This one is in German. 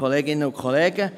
Kommissionssprecher